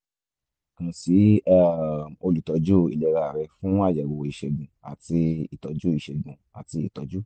kàn sí um olùtọ́jú ìlera rẹ fún àyẹ̀wò ìṣègùn àti ìtọ́jú ìṣègùn àti ìtọ́jú